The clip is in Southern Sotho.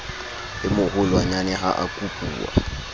e moholwanyane ha a kopuwa